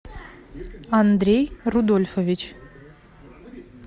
андрей рудольфович